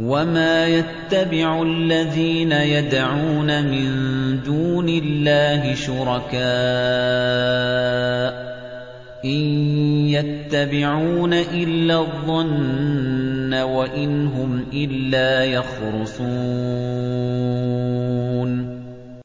وَمَا يَتَّبِعُ الَّذِينَ يَدْعُونَ مِن دُونِ اللَّهِ شُرَكَاءَ ۚ إِن يَتَّبِعُونَ إِلَّا الظَّنَّ وَإِنْ هُمْ إِلَّا يَخْرُصُونَ